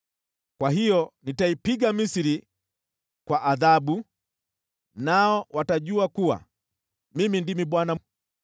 Kwa hiyo nitaipiga Misri kwa adhabu, nao watajua kuwa Mimi ndimi Bwana .’”